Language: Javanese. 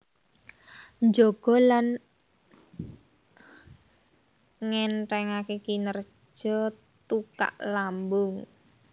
Njaga lan ngènthèngaké kinerja tukak lambung